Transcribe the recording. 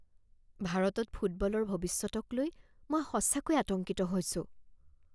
ভাৰতত ফুটবলৰ ভৱিষ্যতক লৈ মই সঁচাকৈয়ে আতংকিত হৈছোঁ।